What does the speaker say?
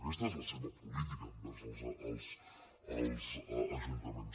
aquesta és la seva política envers els ajuntaments